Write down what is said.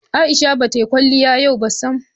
Aisha ba ta yi kwaliya yau ba sam.